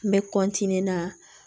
N bɛ na